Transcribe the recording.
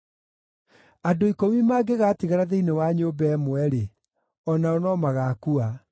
Andũ ikũmi mangĩgatigara thĩinĩ wa nyũmba ĩmwe-rĩ, o nao no magaakua.